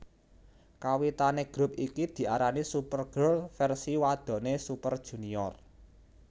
Kawitane grup iki diarani Super Girl versi wadone Super Junior